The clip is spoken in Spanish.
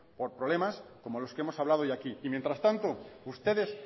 por problemas como los que hemos hablado hoy aquí y mientras tanto ustedes